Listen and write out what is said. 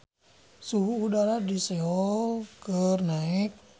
Suhu udara di Seoul keur naek